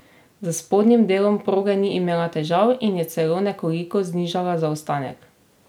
S spodnjim delom proge ni imela težav in je celo nekoliko znižala zaostanek.